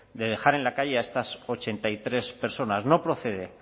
de dejar en la calle a estas ochenta y tres personas no procede